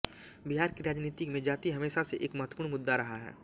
बिहार की राजनीति में जाति हमेशा से एक महत्वपूर्ण मुद्दा रहा है